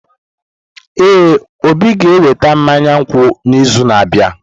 Ee, Obi ga-eweta mmanya nkwụ n’izu na-abịa.